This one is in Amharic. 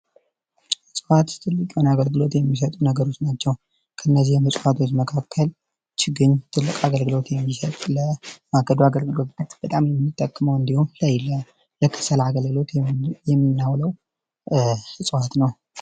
እፅዋት ትልቅ የሆነ አገልግሎት የሚሰጡ ነገሮች ናቸው ከእነዚህ እፅዋቶች መካከል ችግኝ ትልቅ አገልግሎት የሚሰጥ ለማገዶ አገልግሎት በጣም የሚጠቅመው እንዲሁም ለከሰል አገልግሎት የምናውለው እጽዋት ነው።